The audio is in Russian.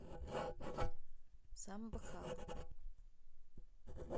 самбхал